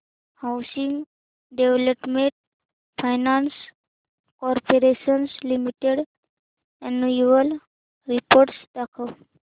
housing development finance corporation limited annual report दाखव